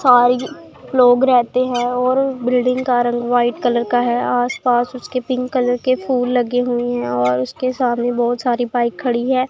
सारी लोग रहते हैं और बिल्डिंग का रंग व्हाइट कलर का है आसपास उसके पिंक कलर के फुल लगे हुएं हैं और उसके सामने बहुत सारी बाइक खड़ी हैं।